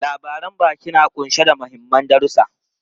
Labaran baki na kunshe da mahimman darusa.